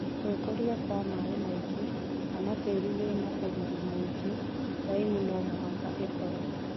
Gwikũrĩa kwĩ maĩ maingi, kana tĩrĩ wĩna ũrũrũ mũingĩ laimu nomũhaka ĩkĩrwo.